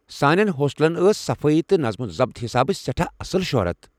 سانٮ۪ن ہوسٹلن ٲس صفٲیی تہٕ نطم و ضبت حسابہٕ سٮ۪ٹھاہ اصٕل شۄہرت۔